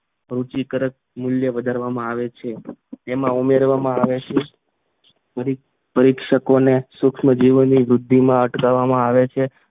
રૂચિકારક મૂલ્ય વધારવામાં આવે છે એમાં ઉમેરવામાં આવે છે પરીક્ષકોને સુક્ષ્મજીવોની વૃદ્ધિનો અટકાવવામાં આવે છે